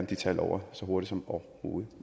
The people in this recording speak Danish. de tal over så hurtigt som overhovedet